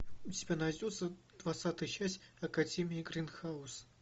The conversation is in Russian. у тебя найдется двадцатая часть академии гринхаус